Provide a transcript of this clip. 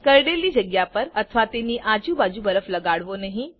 કરડેલી જગ્યા પર અથવા તેની આજુબાજુ બરફ લગાડવો નહી